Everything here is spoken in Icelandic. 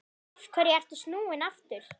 Af hverju ertu snúinn aftur?